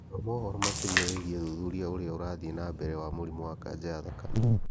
Thoma ũhoro makĩria wĩgiĩ ũthuthuria ũria ũrathiĩ na mbere wa mũrimũ wa kanja ya thakame